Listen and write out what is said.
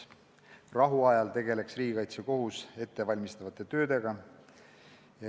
Rahuajal tegeleks riigikaitsekohus ettevalmistava tööga.